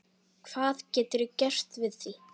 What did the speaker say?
Hvað geturðu gert við því?